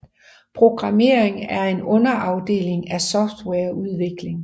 Programmering er en underafdeling af softwareudvikling